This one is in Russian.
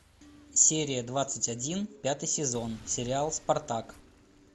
серия двадцать один пятый сезон сериал спартак